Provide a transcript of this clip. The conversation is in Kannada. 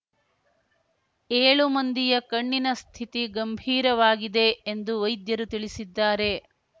ಏಳು ಮಂದಿಯ ಕಣ್ಣಿನ ಸ್ಥಿತಿ ಗಂಭೀರವಾಗಿದೆ ಎಂದು ವೈದ್ಯರು ತಿಳಿಸಿದ್ದಾರೆ